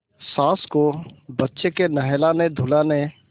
सास को बच्चे के नहलानेधुलाने